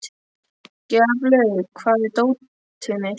Gjaflaug, hvar er dótið mitt?